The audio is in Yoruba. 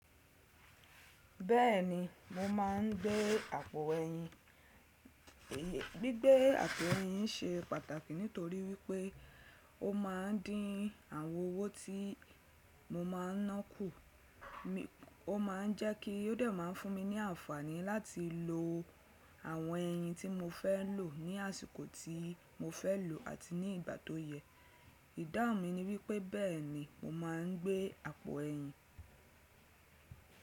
Bẹ́ẹ̀ni, mo máa ń gbé àpò ẹyin. Gbígbé àpò ẹyin ṣe pàtàkì nítorí wí pé ó máa ń dín àwọn owó tí mo máa ń ná kù. Ó máa ń jẹ́ kí ó dè máá fún mi ní àǹfàní láti lo àwọn ẹyin tí mo fẹ́ lò ní àsìkò tí mo fẹ́ lò àti ní ìgbà tó yẹ. Ìdáhùn mi ni wí pé bẹ́ẹ̀ ni mo máa ń gbé àpò ẹyin.